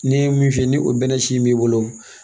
Ne ye min fiyɛ ni o bɛnnɛ si in b'i bolo